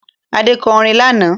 Adé kọ orin lánàá